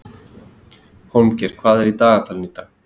Hólmgeir, hvað er í dagatalinu í dag?